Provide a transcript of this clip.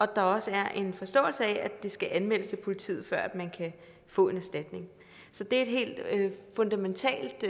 der også er en forståelse af det skal anmeldes til politiet før man kan få en erstatning så det er et helt fundamentalt